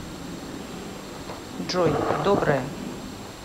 джой доброе